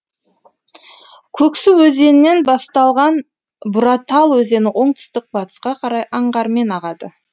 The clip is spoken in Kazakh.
көксу өзенінен басталған буратал өзені оңтүстік батысқа қарай аңғармен ағады